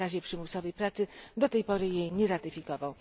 o zakazie przymusowej pracy, do tej pory jej nie ratyfikował.